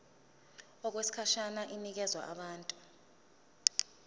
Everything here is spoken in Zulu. okwesikhashana inikezwa abantu